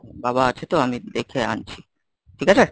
বাবা আছে তো আমি একটু দেখে আনছি ঠিক আছে?